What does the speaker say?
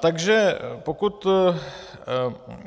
Takže pokud